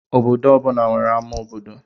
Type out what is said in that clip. Obodo ọ bụla nwere ama obodo.